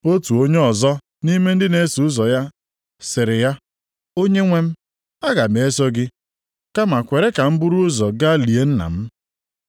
Otu onye ọzọ nʼime ndị na-eso ụzọ ya sịrị ya, “Onyenwe m, aga m eso gị, kama kwere ka m buru ụzọ gaa lie nna m.”